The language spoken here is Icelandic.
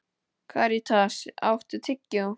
Karítas, áttu tyggjó?